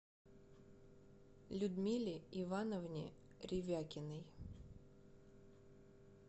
людмиле ивановне ревякиной